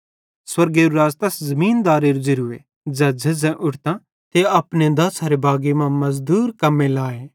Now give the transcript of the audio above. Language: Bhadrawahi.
स्वर्गेरू राज़ तैस ज़िमदारेरू ज़ेरूए ज़ै झ़ेझ़ां उट्ठतां ते अपने दाछ़री बागी मां मज़दूर कम्मे लाए